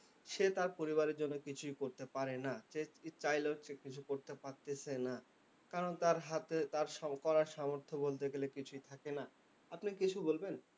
সে তার পরিবারের জন্য কিছুই করতে পারে না। সে চাইলেও সে কিছু করতে পারতেছে না। কারণ তার হাতে তার করার সামর্থ্য বলতে গেলে কিছুই থাকে না। আপনি কিছু বলবেন?